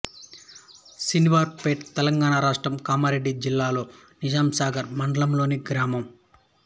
శనివారపేట్ తెలంగాణ రాష్ట్రం కామారెడ్డి జిల్లా నిజాంసాగర్ మండలంలోని గ్రామం